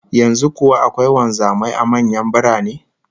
Yanzu kuwa akwai wanzamai a manyan birane?